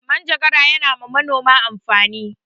Manjagara ya na wa manoma amfani